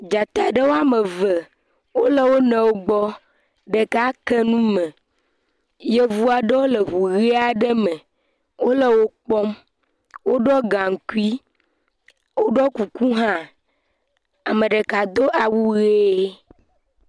Dzata ɖe woame ve wole wo nɔewo gbɔ. Ɖeka ke nume. Yevu aɖewo le ŋu ʋii aɖe me. Wole wokpɔm. Woɖiɔ gaŋkui. Woɖɔ kuku hã. Ame ɖeka do awu ʋee